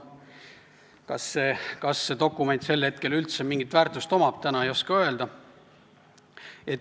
Kas sellel dokumendil sel hetkel üldse mingit väärtust on, ei oska täna öelda.